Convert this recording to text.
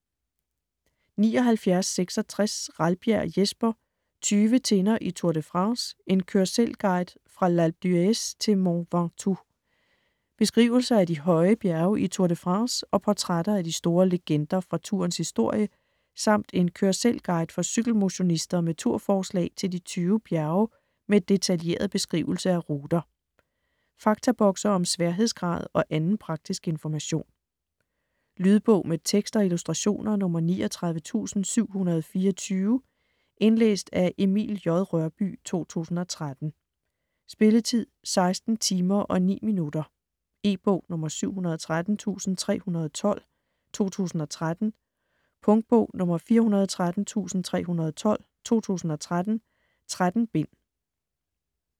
79.66 Ralbjerg, Jesper: Tyve tinder i Tour de France: en kør-selv-guide fra L'Alpe d'Huez til Mont Ventoux Beskrivelser af de høje bjerge i Tour de France og portrætter af de store legender fra tourens historie, samt en kør-selv-guide for cykelmotionister med tur-forslag til de 20 bjerge med detaljeret beskrivelse af ruter. Faktabokse om sværhedsgrad og anden praktisk information. Lydbog med tekst og illustrationer 39724 Indlæst af Emil J. Rørbye, 2013. Spilletid: 16 timer, 9 minutter. E-bog 713312 2013. Punktbog 413312 2013. 13 bind.